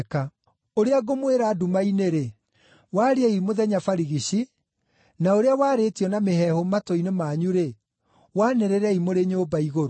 Ũrĩa ngũmwĩra nduma-inĩ-rĩ, wariei mũthenya barigici, na ũrĩa warĩtio na mĩheehũ matũ-inĩ manyu-rĩ, wanĩrĩrei mũrĩ nyũmba-igũrũ.